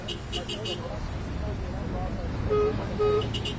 Yəni başqa avadanlıqlar da yəni burda gəlib tapa bilərsiniz.